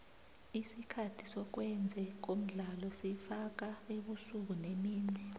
isikhathi sokwenze komdlalo sifaka ubusuku nemini